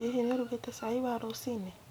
Hihi nĩ ũrũgite cai wa rũcinĩ